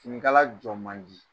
Ninkala jɔn man di